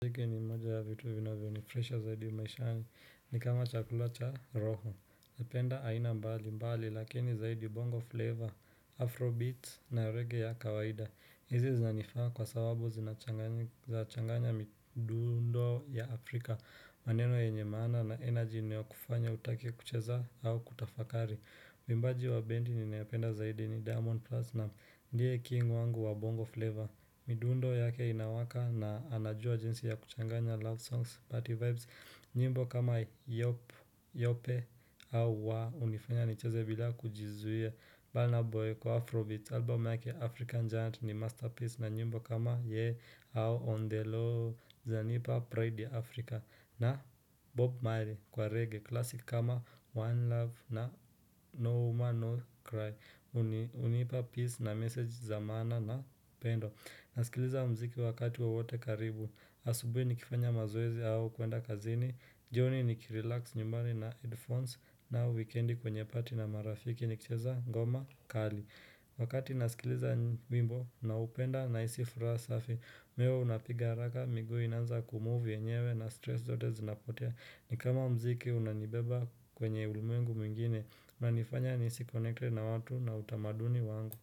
Iki ni moja ya vitu vinavyo ni furaisha zaidi maishani ni kama chakula cha roho napenda aina mbali mbali lakini zaidi bongo flavor, afrobeats na reggae ya kawaida Izi zanifaa kwa sababu zinachanganya midundo ya Afrika maneno yenye maana na energy inayo kufanya utake kucheza au kutafakari Mwimbaji wa bendi ninaependa zaidi ni diamond platnam ndiye king wangu wa bongo flavor midundo yake inawaka na anajua jinsi ya kuchanganya love songs, party vibes, nyimbo kama yope au wa, unifanya nicheze bila kujizuia. Burna Boy kwa Afrobeat, album yake African Giant ni masterpiece na nyimbo kama yeah au on the low, zananipa Pride Africa na Bob Miley kwa reggae, classic kama One love na No woman No Cry, unipa peace na message za maana na upendo. Nasikiliza mziki wakati wowote karibu asubui nikifanya maoezi hau kuenda kazini jioni nikirelax nyumbani na headphones na wikendi kwenye party na marafiki nikicheza ngoma kali wakati nasikiliza wimbo na upenda na hisi furaha safi moyo unapiga haraka miguu inaanza kumove yenyewe na stress zote zinapotea ni kama mziki unanibeba kwenye ulumeengu mwingine unanifanya nihisi connected na watu na utamaduni wangu.